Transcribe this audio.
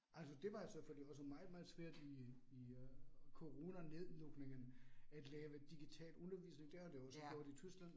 Altså det var jo så fordi også meget meget svært i i øh coronanedlukningen at lave digital undervisning, det har de også gjort i Tyskland